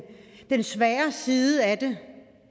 svære side af